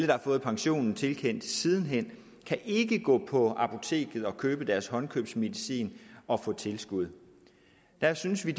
har fået pension tilkendt sidenhen kan ikke gå på apoteket og købe deres håndkøbsmedicin og få tilskud der synes vi